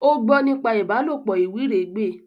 O gbọ nípa ìbálòpọ̀ iwiregbe